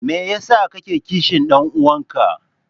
Me yasa kake kishin dan uwanka?